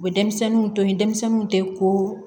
U bɛ denmisɛnninw to yen denmisɛnninw tɛ ko